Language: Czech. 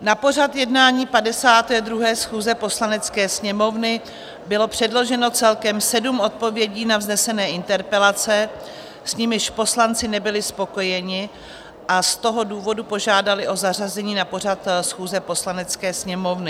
Na pořad jednání 52. schůze Poslanecké sněmovny bylo předloženo celkem sedm odpovědí na vznesené interpelace, s nimiž poslanci nebyli spokojeni, a z toho důvodu požádali o zařazení na pořad schůze Poslanecké sněmovny.